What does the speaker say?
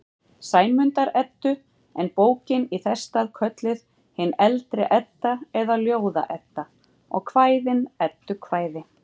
Sæmundar-Eddu, en bókin í þess stað kölluð hin eldri Edda eða Ljóða-Edda og kvæðin eddukvæði.